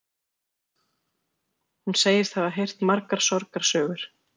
Hún segist hafa heyrt margar sorgarsögur